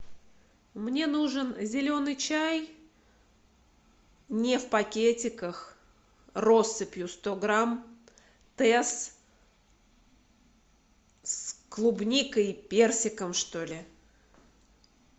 мне нужен зеленый чай не в пакетиках россыпью сто грамм тесс с клубникой и персиком что ли